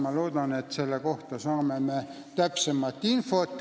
Ma loodan, et me saame selle kohta täpsemat infot.